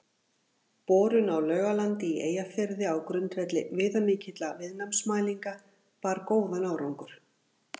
Borun á Laugalandi í Eyjafirði á grundvelli viðamikilla viðnámsmælinga bar góðan árangur.